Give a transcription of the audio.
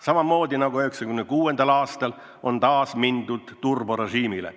Samamoodi nagu 1996. aastal on taas üle mindud turborežiimile.